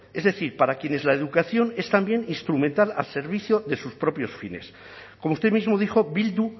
es decir para quienes la educación es también instrumental al servicio de sus propios fines como usted mismo dijo bildu